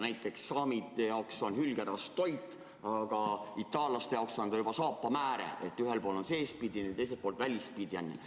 Näiteks saamide jaoks on hülgerasv toit, aga itaallaste jaoks on see juba saapamääre – ühel pool on see seespidiseks kasutamiseks, teisel pool välispidiseks.